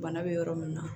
Bana bɛ yɔrɔ min na